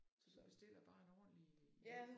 Så du bestiller bare en ordentlig hjem ja